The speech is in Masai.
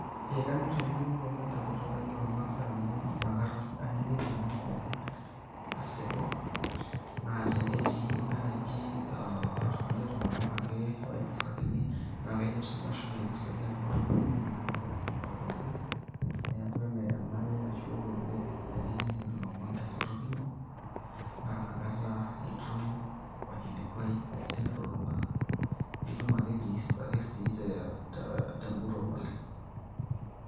Ekanyor ainining'o ilomon te nkutuk ang' olmaasai amu nakata aning'u ilomon pookin asipu. Naa tenetii naaji ilkulie tung'ana ake oinosakini, naa kaidim ake siinanu ashomo ainosaki amu atoning'uo naa enkutuk aitobiraki, neaku kenare naa teninining ilomon te nkutuk ino naa nakata itum olkilikua pookin elulung'a, nitum ake sii te tenguton oleng.